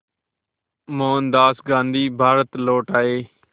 मोहनदास गांधी भारत लौट आए